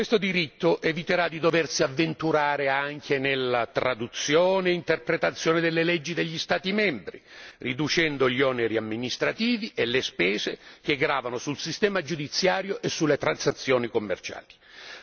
Questo diritto eviterà di doversi avventurare anche nella traduzione e interpretazione delle leggi degli Stati membri, riducendo gli oneri amministrativi e le spese che gravano sul sistema giudiziario e sulle transazioni commerciali.